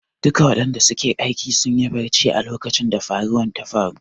Duk wadanda suke kan aiki sunyi barcci a lokacin da faruwan ta faru.